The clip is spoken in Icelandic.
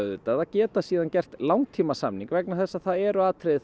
auðvitað að geta gert langtímasamning vegna þess að það eru atriði